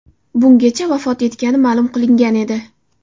Bungacha vafot etgani ma’lum qilingan edi.